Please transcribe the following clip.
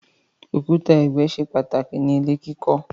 Òkúta ẹgbẹ ṣe pàtàkì ní ilè kí kò.